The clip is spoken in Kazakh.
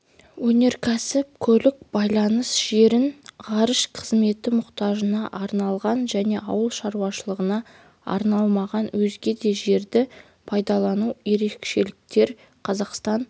өнеркәсіп көлік байланыс жерін ғарыш қызметі мұқтажына арналған және ауыл шаруашылығына арналмаған өзге де жерді пайдалану ерекшеліктер қазақстан